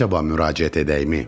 Əcəba müraciət edəkmi?